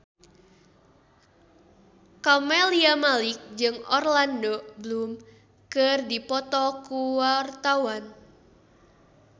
Camelia Malik jeung Orlando Bloom keur dipoto ku wartawan